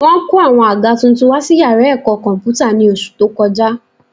Wọ́n kó àwọn àga tuntun wá sí yàrá ẹ̀kọ́ kọ̀m̀pútà ní oṣù tó kọjá